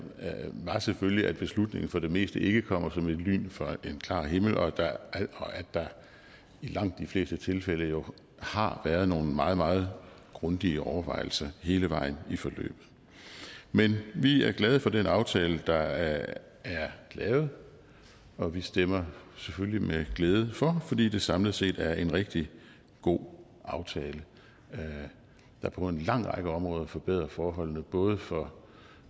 var selvfølgelig at beslutningen for det meste ikke kommer som et lyn fra en klar himmel og at der i langt de fleste tilfælde jo har været nogle meget meget grundige overvejelser hele vejen i forløbet men vi er glade for den aftale der er lavet og vi stemmer selvfølgelig med glæde for fordi det samlet set er en rigtig god aftale der på en lang række områder forbedrer forholdene både for